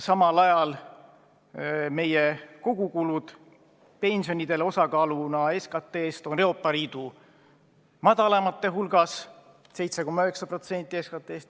Samal ajal meie kogukulud pensionideks osakaaluna SKT-s on Euroopa Liidu väikseimate hulgas: 7,9% SKT-st.